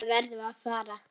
Þangað verðum við að fara.